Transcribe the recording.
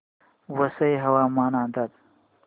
वसई हवामान अंदाज